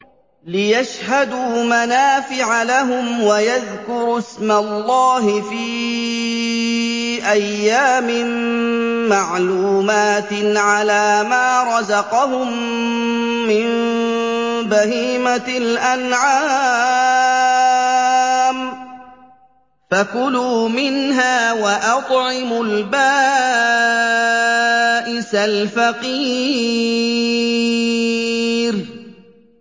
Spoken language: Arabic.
لِّيَشْهَدُوا مَنَافِعَ لَهُمْ وَيَذْكُرُوا اسْمَ اللَّهِ فِي أَيَّامٍ مَّعْلُومَاتٍ عَلَىٰ مَا رَزَقَهُم مِّن بَهِيمَةِ الْأَنْعَامِ ۖ فَكُلُوا مِنْهَا وَأَطْعِمُوا الْبَائِسَ الْفَقِيرَ